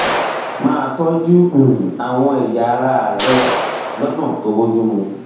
máa tọjú um àwọn ẹyà ara rẹ rẹ lọnà tó bójú mu